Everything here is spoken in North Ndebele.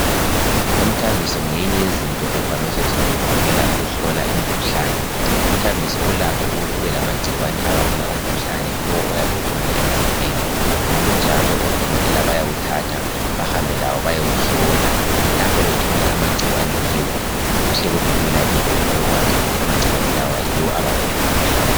Umthambiso ngeyinye yezinto evame ukusetshenziswa ngodokotela ukuhlola umkhuhlane. Umthambiso ulakho ukuthi ube lamagcikwane abangela umkhuhlane lo oyabe ukhona emzimbeni ngokunjalo odokotela bayawuthatha bahambe lawo bayewuhlola lapho bathola amagcikwane kiwo kuhle kubelula kibo ukuthi babekwazi ukuthi amagcikwane la yiwo abangele umkhuhlane